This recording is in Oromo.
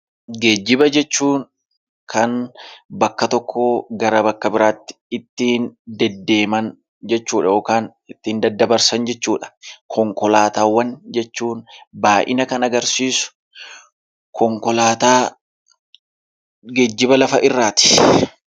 Geejjiba jechuun kan bakka tokkoo gara bakka biraatti ittiin deddeeman jechuudha, yookaan ittiin daddabarsan jechuudha. Konkolaataawwan jechuun baay'ina kan agarsiisu konkolaataa geejjiba lafa irraati.